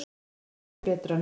Veðrið er mun betra núna.